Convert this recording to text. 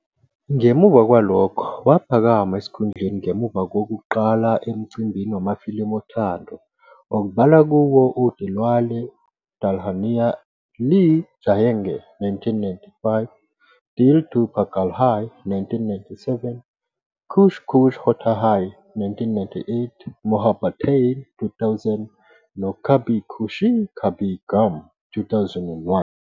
Ngemuva kwalokho waphakama esikhundleni ngemuva kokuqala emcimbini wamafilimu othando, okubalwa kuwo uDilwale Dulhania Le Jayenge, 1995, Dil To Pagal Hai, 1997, Kuch Kuch Hota Hai, 1998, Mohabbatein, 2000 noKabhi Khushi Kabhie Gham.., 2001.